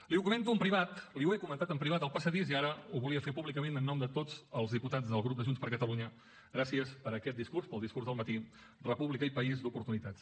li ho comento en privat li ho he comentat en privat al passadís i ara ho volia fer públicament en nom de tots els diputats del grup de junts per catalunya gràcies per aquest discurs pel discurs del matí república i país d’oportunitats